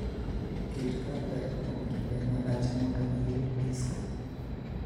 Ket kar dak kuom kinde malach mondo iyud disko.